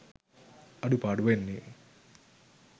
අඩුපාඩු වෙන්නේ.